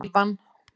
Ívan